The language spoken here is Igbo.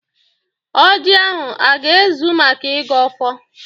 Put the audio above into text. ọjị ahụ aga ezu maka igọ ọfọ?